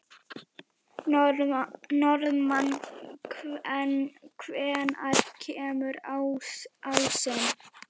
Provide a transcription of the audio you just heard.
Norðmann, hvenær kemur ásinn?